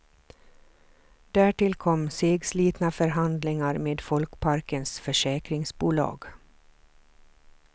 Därtill kom segslitna förhandlingar med folkparkens försäkringsbolag.